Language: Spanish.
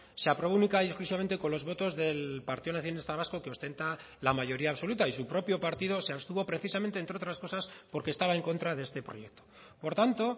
se aprobó única y exclusivamente con los votos del partido nacionalista vasco que ostenta la mayoría absoluta y su propio partido se abstuvo precisamente entre otras cosas porque estaba en contra de este proyecto por tanto